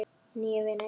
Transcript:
Nýir vinir